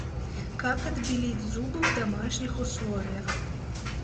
как отбелить зубы в домашних условиях